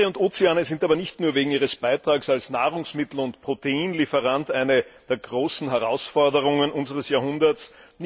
Meere und Ozeane sind aber nicht nur wegen ihres Beitrags als Nahrungsmittel und Proteinlieferanten eine der großen Herausforderungen unseres Jahrhunderts.